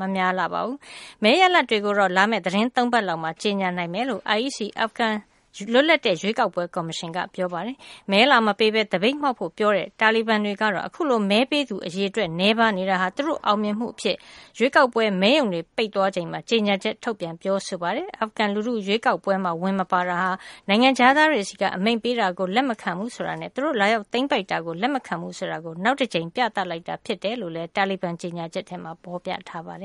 မများလှပါဘူး။ မဲရလဒ်တွေကို လာမယ့် သီတင်း ၃ ပတ်လောက်မှာ ကြေညာနိုင်မယ်လို့ IEC အာဖဂန်နစ္စတန်ရဲ့ လွတ်လပ်တဲ့ ရွေးကောက်ပွဲကော်မရှင်က ပြောပါတယ်။ မဲလာမပေးဘဲ သပိတ်မှောက်ဖို့ ပြောထားတဲ့ တာလီဘန်တွေကတော့ အခုလို မဲပေးသူ အရေအတွက် နည်းပါးနေတာဟာ သူတို့ရဲ့ အောင်မြင်မှုအဖြစ် ရွေးကောက်ပွဲမဲရုံတွေ ပိတ်သွားချိန်မှာ ကြေညာချက်ထုတ်ပြန် ပြောဆိုလိုက်ပါတယ်။ အာဖဂန်လူထု ရွေးကောက်ပွဲမှာ မပါတာဟာ နိုင်ငံခြားသားတွေဆီက အမိန့်ပေးတာကို လက်မခံဘူးဆိုတာနဲ့ သူတို့ လာရောက်သိမ်းပိုက်တာကို လက်မခံဘူးဆိုတာကို နောက်တကြိမ် ပြသလိုက်တာ ဖြစ်တယ်လို့လည်း ကြေညာချက်မှာ ဖော်ပြထားပါတယ